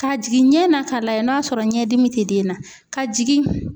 Ka jigin ɲɛ na k'a lajɛ n'a sɔrɔ ɲɛdimi tɛ den na ka jigin